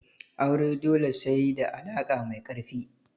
Aure dole sai da alaka mai karfi.